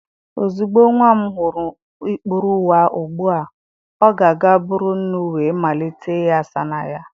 Ozugbo nwa m hụrụ ikpuru ụwa ugbu a, ọ ga-aga buru nnu wee malite ịghasa na ya